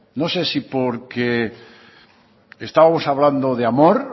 no sé si porque estábamos hablando de amor